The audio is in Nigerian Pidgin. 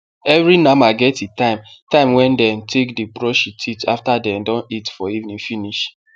every nama get e time time wen dem take dey brush e teeth after den don eat for evening finish